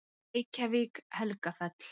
Reykjavík, Helgafell.